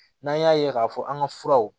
N'an y'a ye k'a fɔ an ka furaw